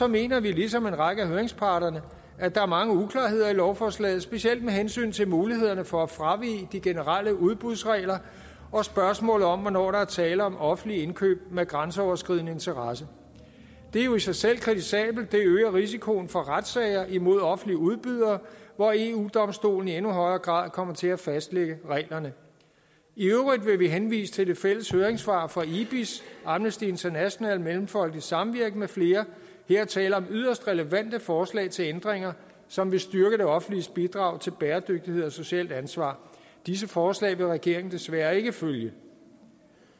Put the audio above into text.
mener vi ligesom en række af høringsparterne at der er mange uklarheder i lovforslaget specielt med hensyn til mulighederne for at fravige de generelle udbudsregler og spørgsmålet om hvornår der er tale om offentlige indkøb med grænseoverskridende interesse det er jo i sig selv kritisabelt det øger risikoen for retssager imod offentlige udbydere hvor eu domstolen i endnu højere grad kommer til at fastlægge reglerne i øvrigt vil vi henvise til det fælles høringssvar fra ibis amnesty international mellemfolkeligt samvirke med flere her er tale om yderst relevante forslag til ændringer som vil styrke det offentliges bidrag til bæredygtighed og socialt ansvar disse forslag vil regeringen desværre ikke følge